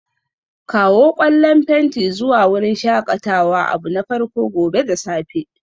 Kawo ƙwallan fenti zuwa wurin shakatawa abu na farko gobe da safe